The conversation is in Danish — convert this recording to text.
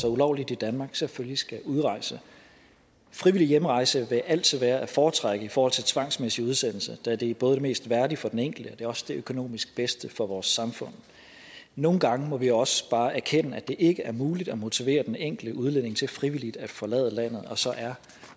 sig ulovligt i danmark selvfølgelig skal udrejse frivillig hjemrejse vil altid være at foretrække i forhold til tvangsmæssig udsendelse da det både er mest værdigt for den enkelte og også det økonomisk bedste for vores samfund nogle gange må vi også bare erkende at det ikke er muligt at motivere den enkelte udlænding til frivilligt at forlade landet og så er